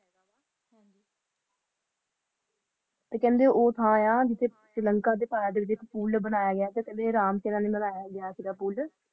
ਤੇ ਕਹਿੰਦੇ ਜਿਥੇ ਸ਼੍ਰੀਲੰਕਾ ਵਾਸਤੇ ਪੁੱਲ ਬਨਾਯਾ ਸੀ ਚਰਨ ਦੇ ਪੁੱਲ